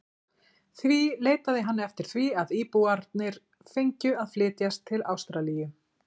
Því leitaði hann eftir því að íbúarnir fengju að flytjast til Ástralíu.